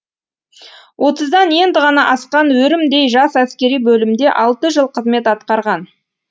отыздан енді ғана асқан өрімдей жас әскери бөлімде алты жыл қызмет атқарған